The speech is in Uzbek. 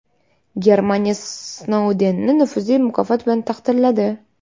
Germaniya Snoudenni nufuzli mukofot bilan taqdirladi.